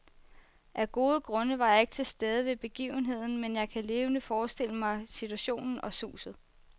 Af gode grunde var jeg ikke til stede ved begivenheden, men jeg kan levende forestille mig situationen og suset.